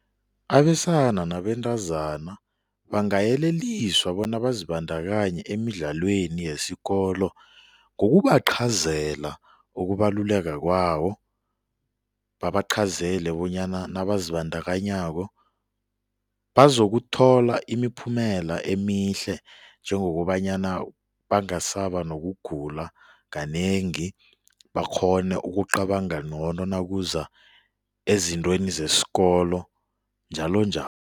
Abesana nabentazana bangayeleliswa bona bazibandakanye emidlalweni yesikolo ngokubaqhazela ukubaluleka kwawo babaqhazele bonyana nabazindakanyako bazokuthola imiphumela emihle njengokobanyana bangasaba nokugula kanengi bakghone ukucabanga ngcono nakuza ezintweni zesikolo njalo